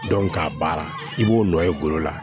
k'a baara i b'o nɔ ye golo la